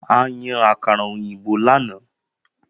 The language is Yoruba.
A yan àkàrà òyìnbó lánàá